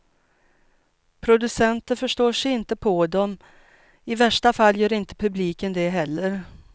Producenter förstår sig inte på dem, i värsta fall gör inte publiken det heller.